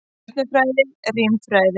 Stjörnufræði, rímfræði.